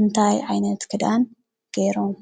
እንታይ ዓይነት ክዳን ጌሮም?